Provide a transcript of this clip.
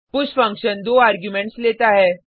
push function 2 arguments लेता है